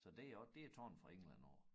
Så det er også det taget fra England af